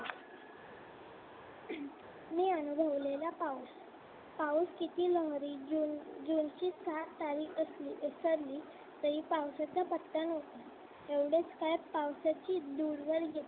मी अनुभवलेला पाऊस पाऊस किती लहरी जुन ची सात तारीख असली तरी पावसाचा पत्ता नसतो एवढच काय पावसाची दूरवरची